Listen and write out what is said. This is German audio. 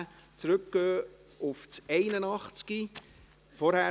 Danach kommen wir zum Traktandum 81 zurück.